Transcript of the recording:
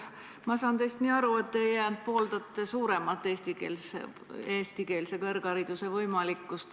Ma saan teist nii aru, et teie pooldate suuremat eestikeelse kõrghariduse võimalikkust.